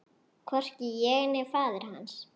Hvorki ég né faðir hans.